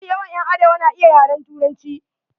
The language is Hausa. Mafi yawan ƴan arewa na iya yaren Turanci.